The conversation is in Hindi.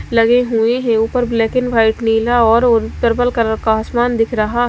लगे हुए हैं ऊपर ब्लैक एंड व्हाइट नीला और ओ पर्पल कलर का आसमान दिख रहा--